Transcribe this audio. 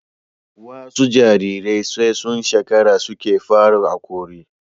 wasu Jarirai sai sun shekara suke fara hakori